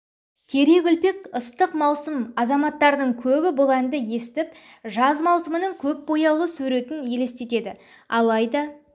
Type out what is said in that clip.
терек үлпек ыстық маусым азаматтардың көбі бұл әнді естіп жаз маусымының көп бояулы суретін елестетеді алайда